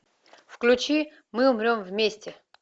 включи мы умрем вместе